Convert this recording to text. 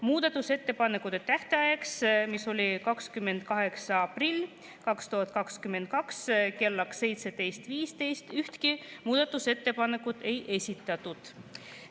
Muudatusettepanekute tähtajaks, mis oli 28. aprill 2022 kell 17.15, ühtegi muudatusettepanekut ei esitatud.